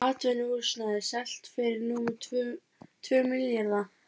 Atvinnuhúsnæði selt fyrir rúma tvo milljarða